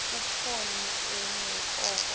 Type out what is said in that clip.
khuphoni enye oko